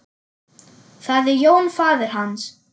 Það er Jón faðir hans.